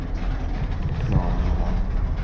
Klara Melander